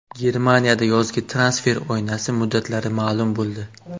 Germaniyada yozgi transfer oynasi muddatlari ma’lum bo‘ldi.